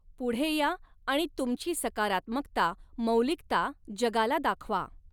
पुढे या आणि तुमची सकारात्मकता, मौलिकता जगाला दाखवा.